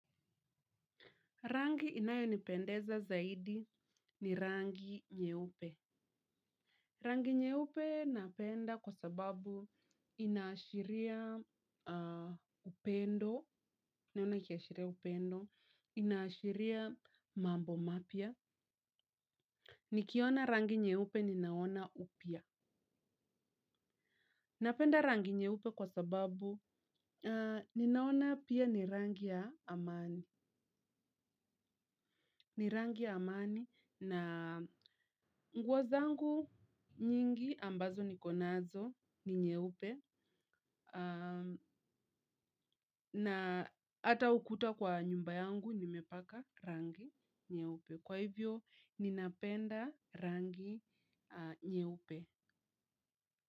Rangi inayo nipendeza zaidi ni rangi nyeupe. Rangi nyeupe napenda kwa sababu inaashiria upendo, inaashiria mambo mapya. Nikiona rangi nyeupe ninaona upya. Napenda rangi nyeupe kwa sababu ninaona pia ni rangi ya amani. Ni rangi amani na nguo zangu nyingi ambazo nikonazo ni nyeupe na ata ukuta kwa nyumba yangu nimepaka rangi nyeupe. Kwa hivyo ninapenda rangi nyeupe.